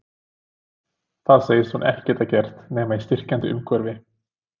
Það segist hún ekki geta gert nema í styrkjandi umhverfi.